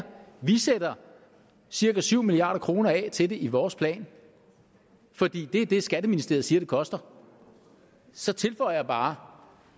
vi sætter cirka syv milliard kroner af til det i vores plan for det er det skatteministeriet siger det koster så tilføjer jeg bare